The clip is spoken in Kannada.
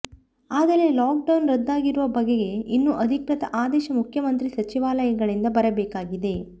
ಆದರೆ ಲಾಕ್ಡೌನ್ ರದ್ದಾಗಿರುವ ಬಗೆಗೆ ಇನ್ನೂ ಅಧಿಕೃತ ಆದೇಶ ಮುಖ್ಯಮಂತ್ರಿ ಸಚಿವಾಲಯಗಳಿಂದ ಬರಬೇಕಾಗಿದೆ